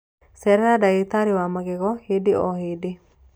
Cerera ndagĩtarĩ wa magego hĩndĩ o hĩndĩ